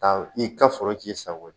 Ka i ka foro k'i sago ye